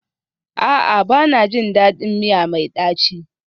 A'a, ba na jin daɗin miya mai ɗaci